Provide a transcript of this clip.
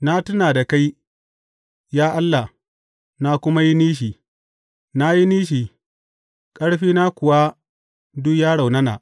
Na tuna da kai, ya Allah, na kuma yi nishi; na yi nishi, ƙarfina kuwa duk ya raunana.